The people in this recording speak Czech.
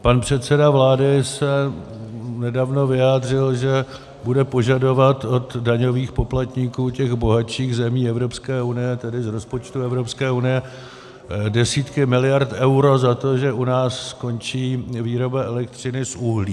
Pan předseda vlády se nedávno vyjádřil, že bude požadovat od daňových poplatníků těch bohatších zemí Evropské unie, tedy z rozpočtu Evropské unie, desítky miliard eur za to, že u nás skončí výroba elektřiny z uhlí.